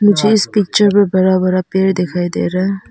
मुझे इस पिक्चर में बड़ा बड़ा पेड़ दिखाई दे रहा है।